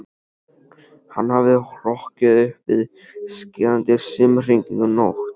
Hann hafði hrokkið upp við skerandi símhringingu nótt